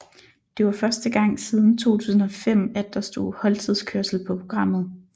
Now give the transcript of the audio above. Det var første gang siden 2005 at der stod holdtidskørsel på programmet